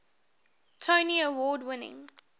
tony award winning